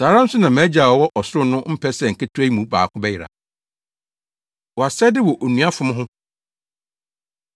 Saa ara nso na mʼagya a ɔwɔ ɔsoro no mpɛ sɛ nketewa yi mu baako bɛyera. Wʼasɛde Wɔ Onua Fom Ho